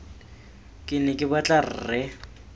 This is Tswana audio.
ke ne ke batla rre